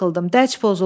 Dərc pozuldu.